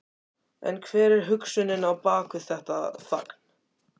En hver er hugsunin á bak við þetta fagn?